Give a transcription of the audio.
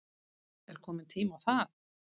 Er kominn tími á það?